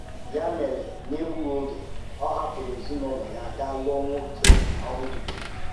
Yá mèrè, n’ègbúghị ògé, ọ hàpụrụ̀ èzìnaụ́lọ̀ ya gàá lụ́ọ́ nwóké ọ hụ̀tụ̀bèghị